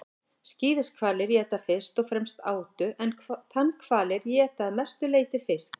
skíðishvalir éta fyrst og fremst átu en tannhvalir éta að mestu leyti fisk